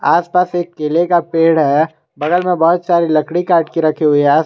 आस पास एक केले का पेड़ है बगल में बहुत सारी लकड़ी काट के रखी हुई है।